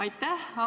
Aitäh!